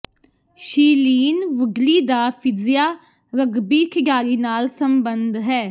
Shailene Woodley ਦਾ ਫਿਜਿਆ rugby ਖਿਡਾਰੀ ਨਾਲ ਸਬੰਧ ਹੈ